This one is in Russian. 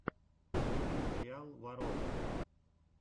вруби сериал ворона